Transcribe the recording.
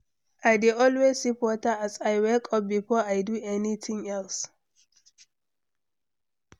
I dey always sip water as I wake up before I do anything else.